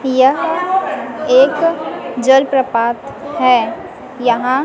यह एक जलप्रपात है यहां--